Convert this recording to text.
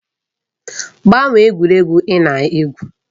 Gbanwee egwuregwu ị na-egwu!